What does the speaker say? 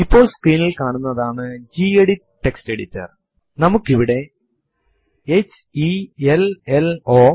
എന്തെങ്കിലും എന്റർ ചെയ്യുന്നതിന് മുൻപ് ഒരു സന്ദേശം പ്രോംപ്റ്റ് ചെയ്യാൻ നമ്മൾ ആഗ്രഹിക്കുന്നു എങ്കിൽ ഇത് ഉപയോഗപ്രദമാണ്